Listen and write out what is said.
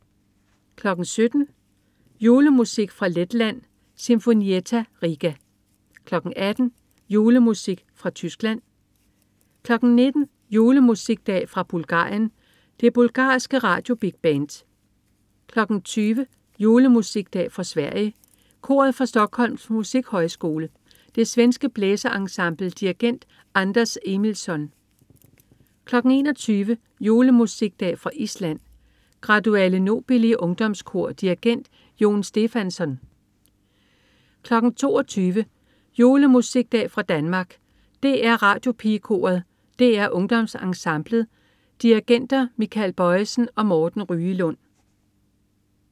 17.00 Julemusikdag fra Letland. Sinfonietta Riga 18.00 Julemusikdag fra Tyskland 19.00 Julemusikdag fra Bulgarien. Det bulgarske Radio Big Band 20.00 Julemusikdag fra Sverige. Koret fra Stockholms Musikhøjskole. Det svenske blæserensemble. Dirigent: Anders Emilsson 21.00 Julemusikdag fra Island. Graduale Nobili ungdomskor. Dirigent: Jón Stefánsson 22.00 Julemusikdag fra Danmark. DR Radiopigekoret. DR UngdomsEnsemblet. Dirigenter Michael Bojesen og Morten Ryelund